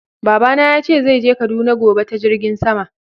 Baba na ya ce zai je Kaduna gobe ta Jirngin sama.